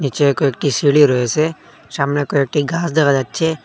কয়েকটি সিঁড়ি রয়েছে সামনে কয়েকটি গাছ দেখা যাচ্ছে।